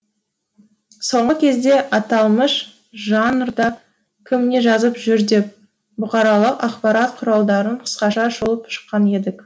соңғы кезде аталмыш жанрда кім не жазып жүр деп бұқаралық ақпарат құралдарын қысқаша шолып шыққан едік